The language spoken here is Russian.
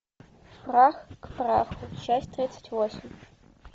прах к праху часть тридцать восемь